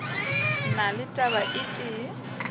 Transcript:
na le taba e tee